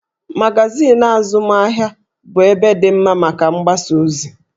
Magazin azụmahịa bụ ebe dị mma maka mgbasaozi